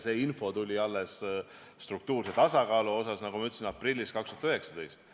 Info struktuurse tasakaalu kohta tuli, nagu ma ütlesin, aprillis 2019.